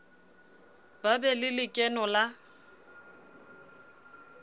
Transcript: ba be le lekeno la